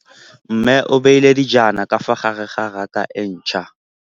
Mmê o beile dijana ka fa gare ga raka e ntšha.